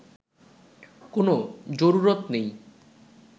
কোনো জরুরত নেই